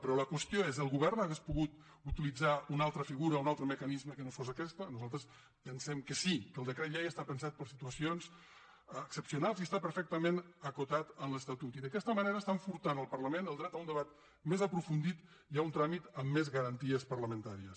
però la qüestió és el govern hauria pogut utilitzar una altra figura un altre mecanisme que no fos aquest nosaltres pensem que sí que el decret llei està pensat per a situacions excepcionals i està perfectament acotat en l’estatut i d’aquesta manera estan furtant al parlament el dret a un debat més aprofundit i a un tràmit amb més garanties parlamentàries